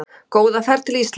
Góða ferð til Íslands!